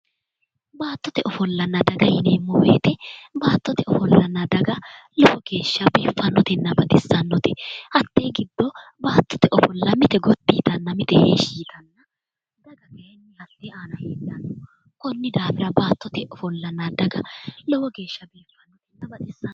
Baattote ofollanna dhaggese yineemmo woyte baattote ofollanna daga lowo geeshsha biifanotenna baxisanote ,hatte giddo baattote ofolla mite gotti yittanna mite heeshshi yittanna daga kayinni hatte aana heedhano konni daafira baattote ofolla daga lowo geeshsha biifanonna baxisano